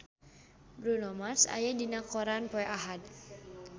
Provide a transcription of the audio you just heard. Bruno Mars aya dina koran poe Ahad